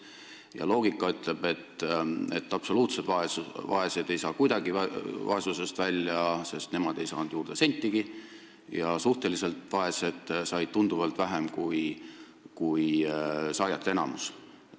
Ka loogika ütleb, et absoluutselt vaesed ei saa kuidagi vaesusest välja, sest nemad ei saanud juurde sentigi, ja suhteliselt vaesed said tunduvalt vähem kui saajate enamus.